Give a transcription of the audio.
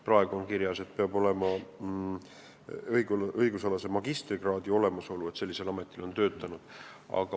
Praegu on kirjas, et inimene peab olema töötanud ametikohal, kus eeldatakse õigusalast magistrikraadi.